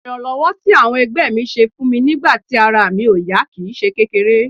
Ìrànlọ́wọ́ tí àwọn ẹgbẹ́ mi ṣe fún mi nígbà tí ara mi ò yá kì í ṣe kékeré